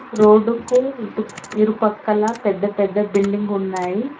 రోడ్డుకు ఇరు పక్కల పెద్దపెద్ద బిల్డింగ్ ఉన్నాయి.